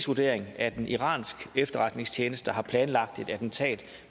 vurdering at en iransk efterretningstjeneste har planlagt et attentat